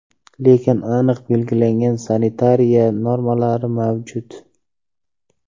Lekin aniq belgilangan sanitariya normalari mavjud.